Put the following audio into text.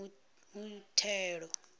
muthelo